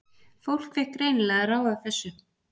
Fólk fékk greinilega að ráða þessu.